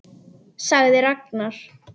sagði Ragnar.